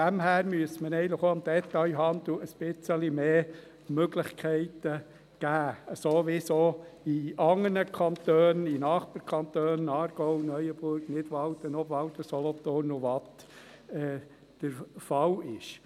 Daher müsste man dem Detailhandel eigentlich auch ein bisschen mehr Möglichkeiten geben, so wie es auch in anderen Kantonen, auch in Nachbarkantonen, Aargau, Neuenburg, Nidwalden, Obwalden, Solothurn und Waadt, der Fall ist.